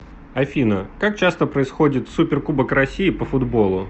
афина как часто происходит суперкубок россии по футболу